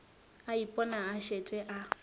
a ipona a šetše a